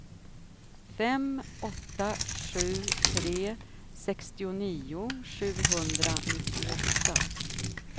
fem åtta sju tre sextionio sjuhundranittioåtta